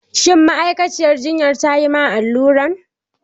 Shin ma'aikaciyar jinyan ta yi ma alluran?